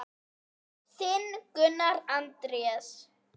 Þinn, Gunnar Andrés.